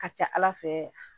A ka ca ala fɛ